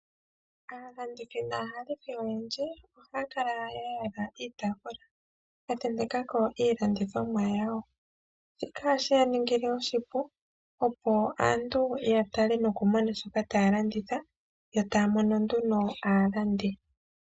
Aalandithi naahahithi oyendji ohaya kala ya yala iitafula ya tentekako iilandithomwa yawo. Shika ohashi ya ningile oshipu opo aantu ya tale nokumona shoka taya landitha yo taya mono nduno aalandi.